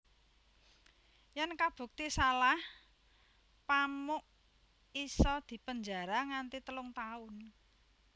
Yèn kabukti salah Pamuk isa dipenjara nganti telung tahun